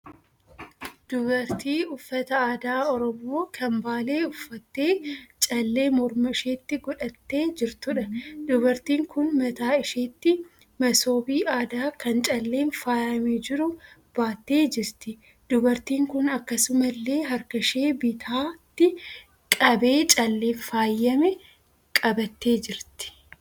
Dubartii uffata aadaa Oromoo kan Baalee uffattee callee morma isheetti godhattee jirtuudha. Dubartiin kun mataa isheetti masoobii aadaa kan calleen faayyamee jiru baattee jirti. Dubartiin kun akkasumallee harka ishee bitaatti qabee calleen faayyame qabattee jirti.